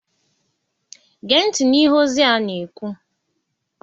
Gee ntị n'ihe ozi a na-ekwu!